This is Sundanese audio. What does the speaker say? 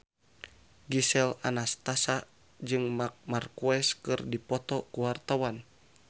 Gisel Anastasia jeung Marc Marquez keur dipoto ku wartawan